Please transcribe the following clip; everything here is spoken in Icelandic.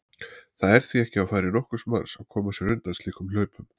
Það er því ekki á færi nokkurs manns að koma sér undan slíkum hlaupum.